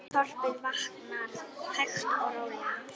Þorpið vaknar hægt og rólega.